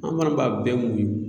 An fana b'a bɛɛ muɲun.